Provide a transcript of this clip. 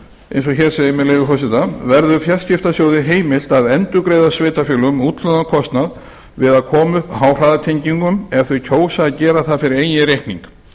eins og hér segir með leyfi forseta verður fjarskiptasjóði heimilt að endurgreiða sveitarfélögum útlagðan kostnað við að koma upp háhraðatengingum ef þau kjósa að gera það fyrir eigin reikning